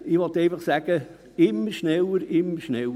– Ich will einfach sagen: immer schneller, immer schneller.